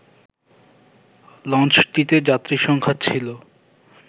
লঞ্চটিতে যাত্রীসংখ্যা ছিল